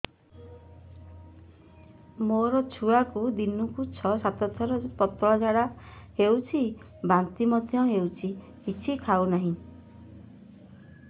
ମୋ ଛୁଆକୁ ଦିନକୁ ଛ ସାତ ଥର ପତଳା ଝାଡ଼ା ହେଉଛି ବାନ୍ତି ମଧ୍ୟ ହେଉଛି କିଛି ଖାଉ ନାହିଁ